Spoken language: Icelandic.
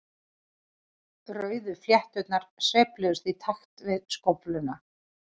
Rauðu flétturnar sveifluðust í takt við skófluna.